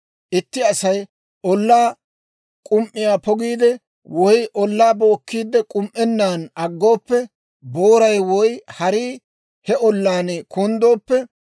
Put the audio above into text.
«Itti Asay ollaa k'um"iyaa pokiide, woy ollaa bookkiide k'um"ennaan aggooppe, booray woy harii he ollaan kunddooppe,